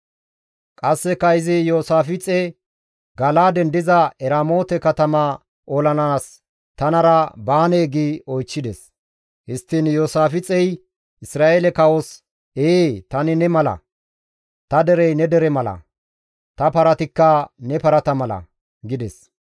Qasseka izi Iyoosaafixe, «Gala7aaden diza Eramoote katama olanaas tanara baanee?» gi oychchides. Histtiin Iyoosaafixey Isra7eele kawos, «Ee! Tani ne mala; ta derey ne dere mala; ta paratikka ne parata mala» gides.